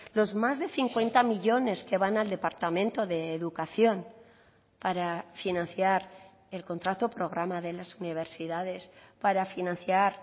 los más de cincuenta millónes que van al departamento de educación para financiar el contrato programa de las universidades para financiar